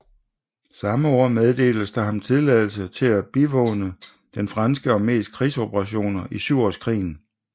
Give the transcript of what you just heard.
Samme år meddeltes der ham tilladelse til at bivåne den franske armés krigsoperationer i Syvårskrigen